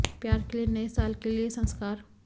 प्यार के लिए नए साल के लिए संस्कार